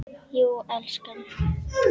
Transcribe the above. Jú, elskan.